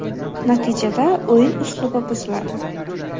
Natijada o‘yin uslubi buziladi.